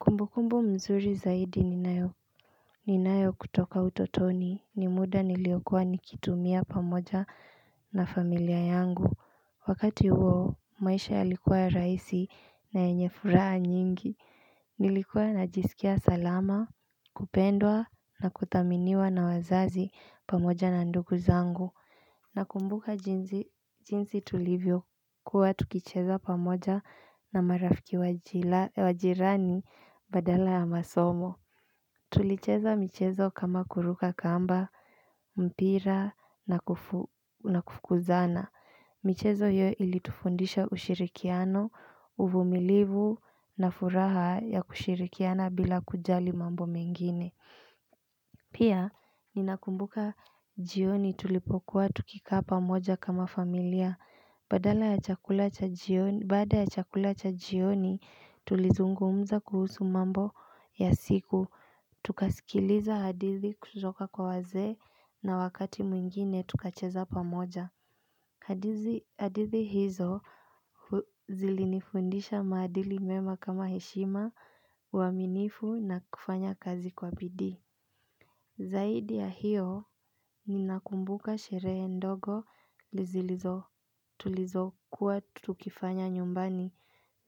Kumbukumbu mzuri zaidi ninayo, ninayo kutoka utotoni ni muda niliokuwa nikitumia pamoja na familia yangu. Wakati huo maisha yalikuwa rahisi na yenye furaha nyingi Nilikuwa najisikia salama kupendwa na kuthaminiwa na wazazi pamoja na ndugu zangu Nakumbuka jinsi tulivyokuwa tukicheza pamoja na marafiki wa jirani badala ya masomo Tulicheza michezo kama kuruka kamba, mpira na kufukuzana michezo hiyo ilitufundisha ushirikiano, uvumilivu na furaha ya kushirikiana bila kujali mambo mengine Pia, ninakumbuka jioni tulipokuwa tukikaa pamoja kama familia Baada ya chakula cha jioni tulizungumza kuhusu mambo ya siku Tukasikiliza hadithi kutoka kwa wazee na wakati mwingine tukacheza pamoja hadithi hizo zilinifundisha maadili mema kama heshima, uaminifu na kufanya kazi kwa bidii Zaidi ya hiyo ninakumbuka sherehe ndogo zilizo tulizo kuwa tukifanya nyumbani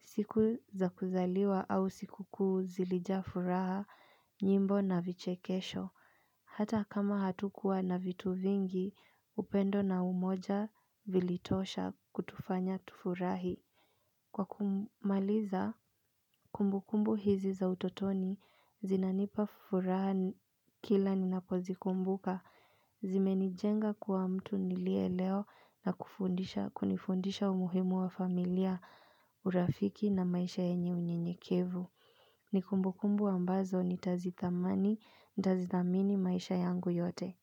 siku za kuzaliwa au siku kuu zilija furaha nyimbo na vichekesho. Hata kama hatukuwa na vitu vingi upendo na umoja vilitosha kutufanya tufurahi. Kwa kumaliza, kumbukumbu hizi za utotoni, zinanipa furaha kila ninapozikumbuka, zimenijenga kuwa mtu niliye leo na kunifundisha umuhimu wa familia urafiki na maisha yenye unyenyekevu. Ni kumbukumbu ambazo nitazithamani, nitazithamini maisha yangu yote.